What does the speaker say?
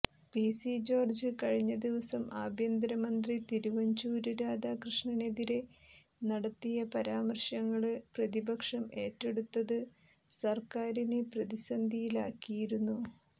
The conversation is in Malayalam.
പിസി ജോര്ജ് കഴിഞ്ഞ ദിവസം ആഭ്യന്തര മന്ത്രി തിരുവഞ്ചൂര് രാധാകൃഷ്ണനെതിരെ നടത്തിയ പരാമര്ശങ്ങള് പ്രതിപക്ഷം ഏറ്റെടുത്തത് സര്ക്കാറിനെ പ്രതിസന്ധിയിലാക്കിയിരുന്നു